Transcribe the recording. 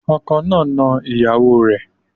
Ọkọ náà ń ná ìyàwó o rẹ̀.